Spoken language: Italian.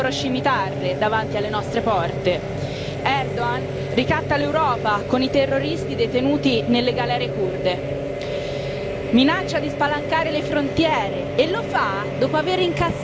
Erdogan ricatta l'Europa con i terroristi detenuti nelle galere curde, minaccia di spalancare le frontiere, e lo fa dopo aver incassato dall'Europa sei miliardi di euro.